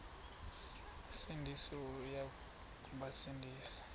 sindisi uya kubasindisa